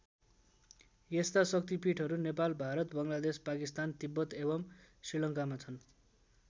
यस्ता शक्तिपीठहरू नेपाल भारत बङ्गलादेश पाकिस्तान तिब्बत एवम् श्रीलङ्कामा छन्।